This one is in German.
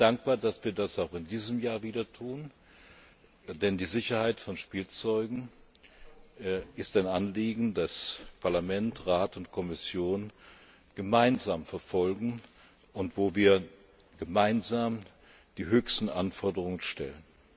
Ich bin sehr dankbar, dass wir das auch in diesem Jahr wieder tun, denn die Sicherheit von Spielzeugen ist ein Anliegen, das Parlament, Rat und Kommission gemeinsam verfolgen und wo wir gemeinsam die höchsten Anforderungen stellen.